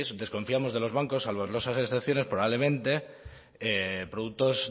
desconfiamos de los bancos salvo honrosas excepciones probablemente productos